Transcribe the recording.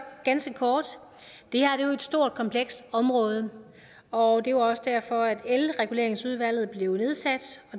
ganske kort det her er jo et stort og komplekst område og det er også derfor at elreguleringsudvalget blev nedsat